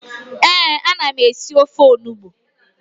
Ee, a na m esị ofe onugbu